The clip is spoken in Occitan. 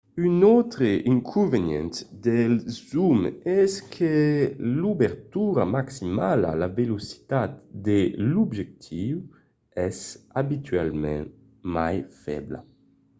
un autre inconvenient dels zooms es que l'obertura maximala la velocitat de l'objectiu es abitualament mai febla